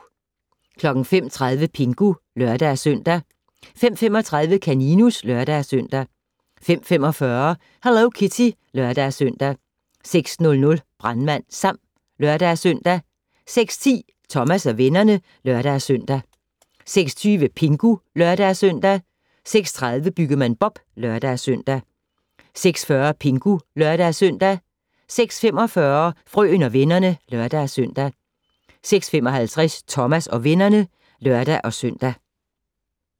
05:30: Pingu (lør-søn) 05:35: Kaninus (lør-søn) 05:45: Hello Kitty (lør-søn) 06:00: Brandmand Sam (lør-søn) 06:10: Thomas og vennerne (lør-søn) 06:20: Pingu (lør-søn) 06:30: Byggemand Bob (lør-søn) 06:40: Pingu (lør-søn) 06:45: Frøen og vennerne (lør-søn) 06:55: Thomas og vennerne (lør-søn)